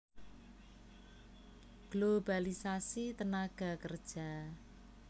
Globalisasi tenaga kerja